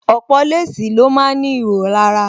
Ọ̀pọ̀ léèsì ni ó ma ń ní ihò lára